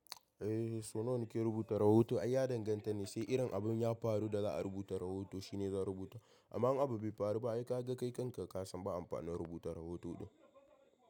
Eh, so nawa na ke rubuta rahoto? Ai ya danganta ne, sai irin abin ya faru da za'a rubuta rahoto shine zan rubuta. Amma in abin bai faru ba ai ka ga kai kanka ka san ba amfani rubuta rahoto din.